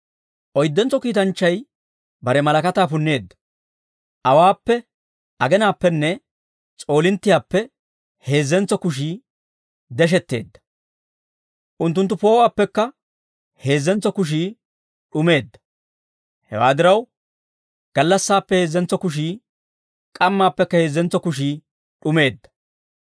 Oyddentso kiitanchchay bare malakataa punneedda. Awaappe, agenaappenne s'oolinttiyaappe heezzentso kushii deshetteedda; unttunttu poo'uwaappekka heezzentso kushii d'umeedda. Hewaa diraw, gallassaappe heezzentso kushii, k'ammaappekka heezzentso kushii d'umeedda.